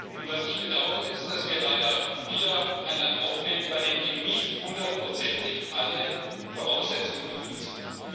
Und ich bedauere, dass wir leider wieder ein Land aufnehmen, bei dem eben nicht hundertprozentig alle Voraussetzungen erfüllt sind.